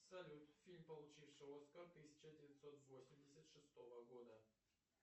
салют фильм получивший оскар тысяча девятьсот восемьдесят шестого года